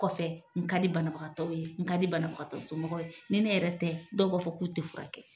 kɔfɛ n ka di bana bagatɔw ye n ka di bana bagatɔ somɔw ye ni ne yɛrɛ tɛ dɔw b'a fɔ k'u tɛ fura kɛ.